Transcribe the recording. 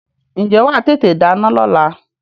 Ǹjẹ́ wà á tètè dáná lọ́la?